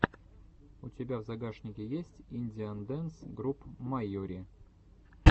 у тебя в загашнике есть индиан дэнс груп майури